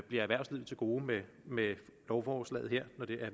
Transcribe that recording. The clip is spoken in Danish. erhvervslivet til gode med med lovforslaget her når det